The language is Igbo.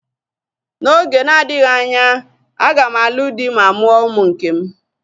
N'oge na-adịghị anya, aga m alụ dị ma mụọ ụmụ nkem